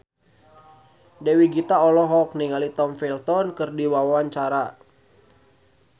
Dewi Gita olohok ningali Tom Felton keur diwawancara